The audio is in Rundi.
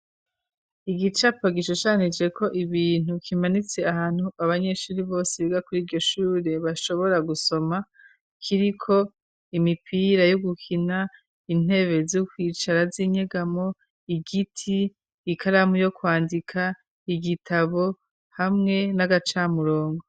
Igicapo gishushanijeko ibintu kimanitse ahantu abanyeshuri bose biga kuri iryo shure bashobora gusoma, kiriko imipira yo gukina, intebe zo kwicara z'inyegamo, igiti, ikaramu yo kwandika, igitabo hamwe n'agacamurongo.